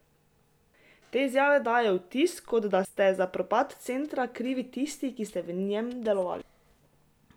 Te izjave dajejo vtis, kot da ste za propad centra krivi tisti, ki ste v njem delovali...